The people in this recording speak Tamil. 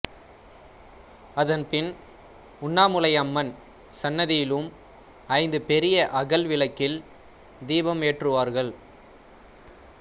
அதன்பின் உண்ணாமுலை அம்மன் சந்நிதியிலும் ஐந்து பெரிய அகல் விளக்கில் தீபம் ஏற்றுவார்கள்